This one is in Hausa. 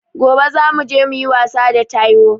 Gobe za muje muyi wasa da taiwo